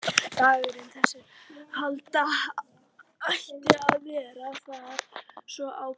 Dagurinn, þegar halda átti í verið, var svo ákveðinn.